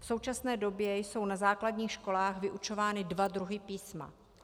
V současné době jsou na základních školách vyučovány dva druhy písma.